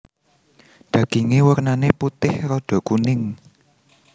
Daginge wernane putih rada kuning